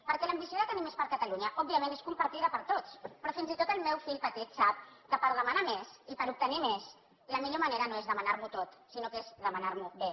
perquè l’ambició de tenir més per a catalunya òbviament és compartida per tots però fins i tot el meu fill petit sap que per demanar més i per obtenir més la millor manera no és demanar m’ho tot sinó que és demanar m’ho bé